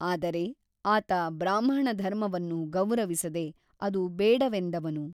ಆದರೆ ಆತ ಬ್ರಾಹ್ಮಣ ಧರ್ಮವನ್ನು ಗೌರವಿಸದೆ ಅದು ಬೇಡವೆಂದವನು.